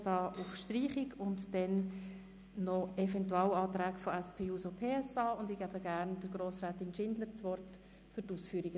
Zur Begründung der Anträge der SP-JUSOPSA hat Grossrätin Schindler das Wort.